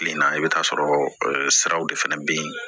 Kile na i bi t'a sɔrɔ siraw de fɛnɛ be yen